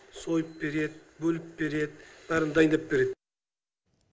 сойып береді бөліп береді бәрін дайындап береді